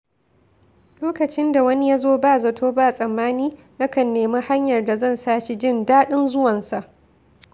Lokacin da wani ya zo ba zato ba tsammani, nakan nemi hanyar da zan sa shi jin daɗin zuwansa.